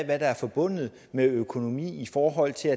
hvad der er forbundet med økonomi i forhold til